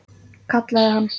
Kallaði hann.